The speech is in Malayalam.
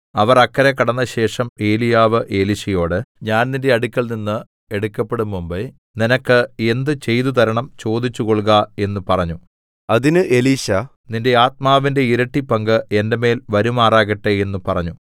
അവർ അക്കരെ കടന്നശേഷം ഏലീയാവ് എലീശയോട് ഞാൻ നിന്റെ അടുത്ത് നിന്ന് എടുക്കപ്പെടും മുമ്പെ നിനക്ക് എന്ത് ചെയ്തു തരണം ചോദിച്ചു കൊൾക എന്ന് പറഞ്ഞു അതിന് എലീശാ നിന്റെ ആത്മാവിന്റെ ഇരട്ടി പങ്ക് എന്റെ മേൽ വരുമാറാകട്ടെ എന്ന് പറഞ്ഞു